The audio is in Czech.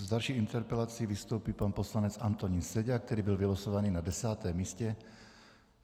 S další interpelací vystoupí pan poslanec Antonín Seďa, který byl vylosovaný na desátém místě.